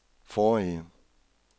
forrige